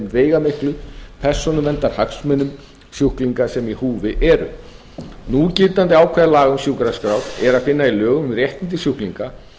veigamiklu persónuverndarhagsmunum sjúklinga sem í húfi eru núgildandi ákvæði laga um sjúkraskrár er að finna í lögum um réttindi sjúklinga